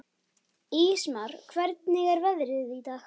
Ísmar, hvernig er veðrið í dag?